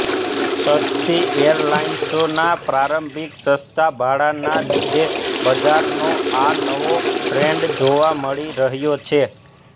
સસ્તી એરલાઇન્સોના પ્રારંભીક સસ્તા ભાડાંના લીધે બજારનો આ નવો ટ્રેન્ડ જોવા મળી રહ્યો છે